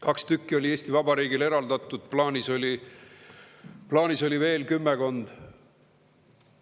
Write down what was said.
Kaks tükki oli Eesti Vabariigile eraldatud, plaanis oli eraldada veel kümmekond.